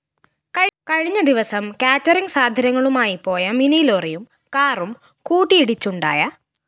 കഴിഞ്ഞദിവസം കേറ്ററിങ്‌ സാധനങ്ങളുമായി പോയ മിനിലോറിയും കാറും കൂട്ടിയിടിച്ചുണ്ടായ